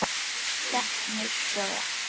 Stefnur sjóða